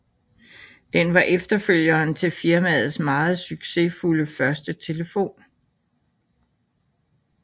Den var efterfølgeren til firmaets meget succesfulde første telefon